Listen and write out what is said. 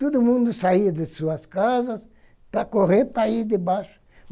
Todo mundo saía de suas casas para correr, para ir debaixo.